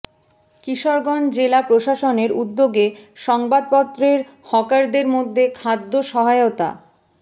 কিশোরগঞ্জ জেলা প্রশাসনের উদ্যোগে সংবাদপত্রের হকারদের মধ্যে খাদ্য সহায়তা